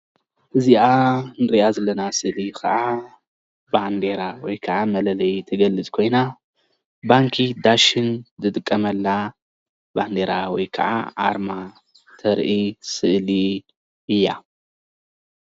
እዚአ ንሪአ ዘለና ስእሊ ካዓ ባንዴራ ወይ ካዓ መለለዪ ትገልፅ ኮይና ባንኪ ዳሽን ዝጥቀመላ ባንዴራ ወይ ካዓ አርማ ተርኢ ስእሊ እያ።